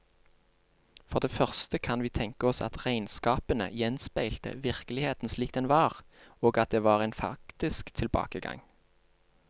For det første kan vi tenke oss at regnskapene gjenspeilte virkeligheten slik den var, og at det var en faktisk tilbakegang.